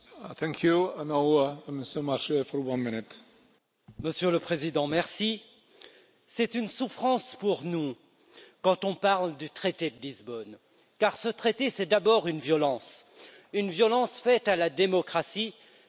Monsieur le Président, c'est une souffrance pour nous quand on parle du traité de Lisbonne car ce traité, c'est d'abord une violence, une violence faite à la démocratie, puisqu'il s'est assis sur le non au référendum français.